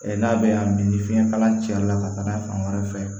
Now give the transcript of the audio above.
n'a bɛ y'a min ni fiɲɛ kala cɛla ka taga fan wɛrɛ fɛ